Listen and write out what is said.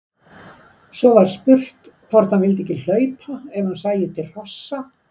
Svo var spurt hvort hann vildi ekki hlaupa ef hann sæi til hrossa.